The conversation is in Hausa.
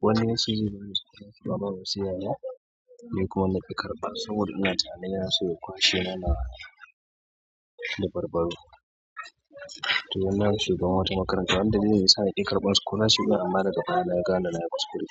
wani ya ce zai su zo suna ba da wasu yaren, ni kuma na yi karɓa saboda ina tunanin ya so ya kwashe mana labarbaro. To ina shiga wata makaranta, wanda dalili ya sa na ki ƙarɓan scholarship amma daga baya na gane na yi kuskure.